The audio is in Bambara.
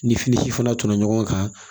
Ni fini si fana tɔnɔ ɲɔgɔn kan